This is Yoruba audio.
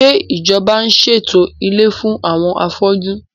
Ṣé ìjọba ń ṣètò ilé fún àwọn afójú?